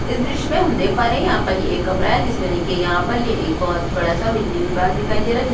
इस दृश में हम देख पा रहे है यहाँ पर एक कमरा है जिसमें देखे यहां पर ये एक बहुत बड़ा सा बिजली विभाग दिखाई दे रहा है जिस --